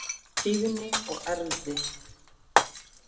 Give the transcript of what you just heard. Tíðni og erfðir